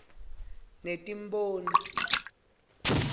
netimboni